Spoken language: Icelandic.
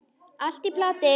Allt í plati.